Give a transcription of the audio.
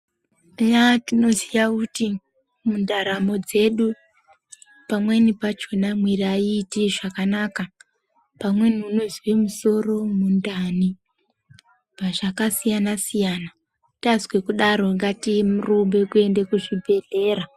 Eya tinoziya kuti mundaramo dzedu pamweni pachona tinozwa kuti mwiri aiiti zvakanaka. Pamweni unozwe musoro mundani zvakasiyana siyana. Tazwe kudaro ngatirumbe kuende kuzvibhedhlera.